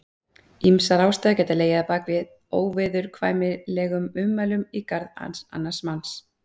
ýmsar ástæður geta legið að baki óviðurkvæmilegum ummælum í garð annars manns